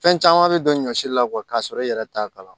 Fɛn caman bɛ don ɲɔsi la k'a sɔrɔ i yɛrɛ t'a kala